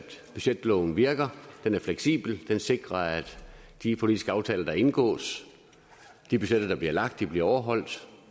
budgetloven virker den er fleksibel den sikrer at de politiske aftaler der indgås og de budgetter der bliver lagt bliver overholdt